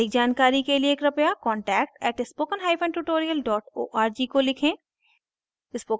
अधिक जानकारी के लिए कृपया contact @spokentutorial org को लिखें